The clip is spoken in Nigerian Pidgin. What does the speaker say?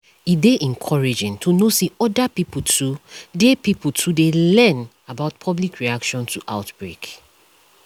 e dey encouraging to know say other pipo too dey pipo too dey learn about public reaction to outbreak